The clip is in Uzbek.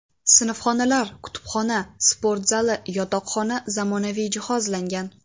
Sinfxonalar, kutubxona, sport zali, yotoqxona zamonaviy jihozlangan.